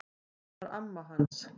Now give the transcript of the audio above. Það var amma hans